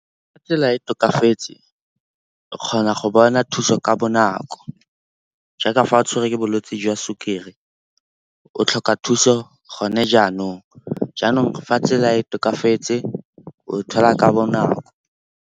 Fa tsela e tokafetse o kgona go bona thuso ka bonako jaaka fa o tshwerwe ke bolwetse jwa sukiri, o tlhoka thuso gone jaanong. Jaanong fa tsela e tokafetse o e thola ka bonako.